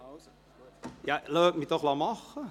Lassen Sie mich doch machen!